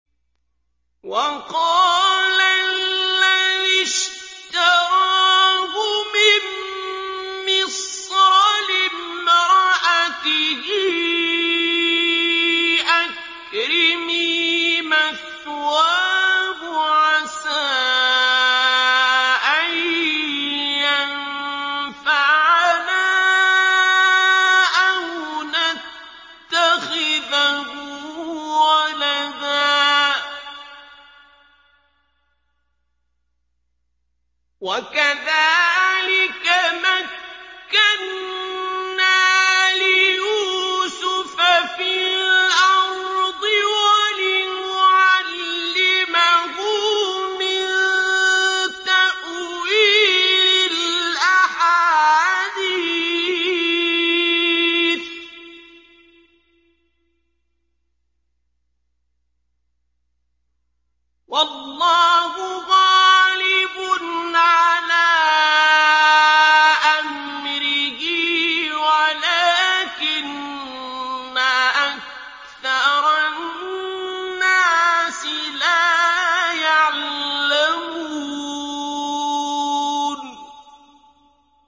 وَقَالَ الَّذِي اشْتَرَاهُ مِن مِّصْرَ لِامْرَأَتِهِ أَكْرِمِي مَثْوَاهُ عَسَىٰ أَن يَنفَعَنَا أَوْ نَتَّخِذَهُ وَلَدًا ۚ وَكَذَٰلِكَ مَكَّنَّا لِيُوسُفَ فِي الْأَرْضِ وَلِنُعَلِّمَهُ مِن تَأْوِيلِ الْأَحَادِيثِ ۚ وَاللَّهُ غَالِبٌ عَلَىٰ أَمْرِهِ وَلَٰكِنَّ أَكْثَرَ النَّاسِ لَا يَعْلَمُونَ